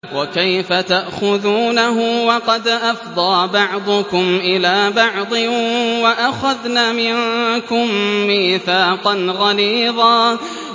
وَكَيْفَ تَأْخُذُونَهُ وَقَدْ أَفْضَىٰ بَعْضُكُمْ إِلَىٰ بَعْضٍ وَأَخَذْنَ مِنكُم مِّيثَاقًا غَلِيظًا